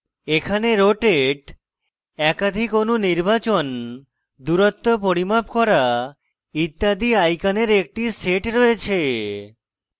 এখানে rotate একাধিক অণু নির্বাচন দূরত্ব পরিমাপ করা ইত্যাদি আইকনের একটি set রয়েছে